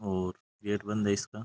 और गेट बंद है इसका --